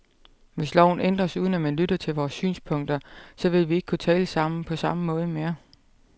Hvis loven ændres, uden at man lytter til vores synspunkter, så vil vi ikke kunne tale sammen på samme måde mere.